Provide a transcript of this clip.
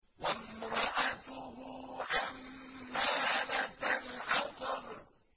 وَامْرَأَتُهُ حَمَّالَةَ الْحَطَبِ